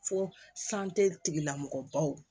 Fo tigilamɔgɔ baw